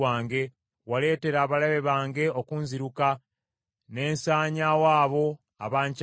Waleetera abalabe bange okunziruka, ne nsanyaawo abo abankyawa.